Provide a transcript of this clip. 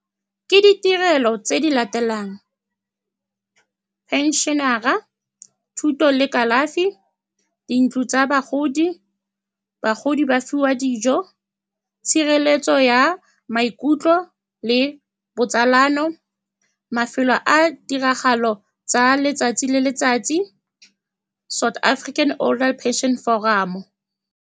Ke ditirelo tse di latelang, pension-ara, thuto le kalafi, dintlo tsa bagodi, bagodi ba fiwa dijo, tshireletso ya maikutlo le botsalano, mafelo a tiragalo tsa letsatsi le letsatsi, South African Older Pension Forum.